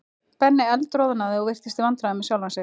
Benni eldroðnaði og virtist í vandræðum með sjálfan sig.